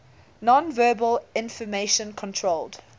nonverbal information controlled